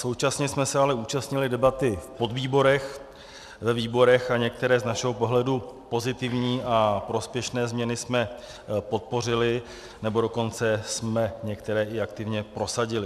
Současně jsme se ale účastnili debaty v podvýborech, ve výborech a některé z našeho pohledu pozitivní a prospěšné změny jsme podpořili, nebo dokonce jsme některé i aktivně prosadili.